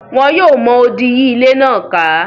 Wọn yóò mọ odì yí ilé náà ká.